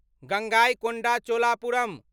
Gangaikonda Cholapuram